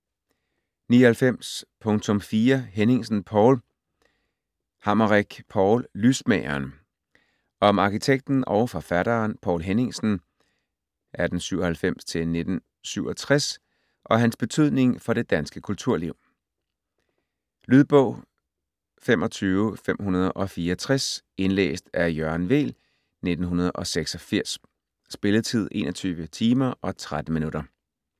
99.4 Henningsen, Poul Hammerich, Paul: Lysmageren Om arkitekten og forfatteren Poul Henningsen (1897-1967) og hans betydning for det danske kulturliv. Lydbog 25564 Indlæst af Jørgen Weel, 1986. Spilletid: 21 timer, 13 minutter.